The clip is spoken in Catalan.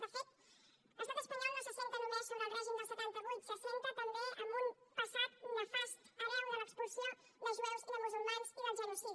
de fet l’estat espanyol no s’assenta només sobre el règim del setanta vuit s’assenta també en un passat nefast hereu de l’expulsió de jueus i de musulmans i del genocidi